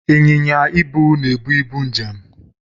Ịnyịnya ibu na-ebu ibu njem